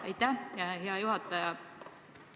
Aitäh, hea juhataja!